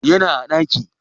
Yana a ɗaki